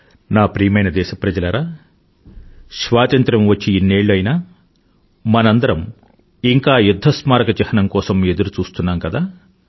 నా ప్రియమైన దేశప్రజలారా స్వాతంత్రం వచ్చి ఇన్నేళ్ళు అయినా మనందరమూ ఇంకా యుధ్ధ స్మారక చిహ్నం కోసం ఎదురుచూస్తున్నాం కదా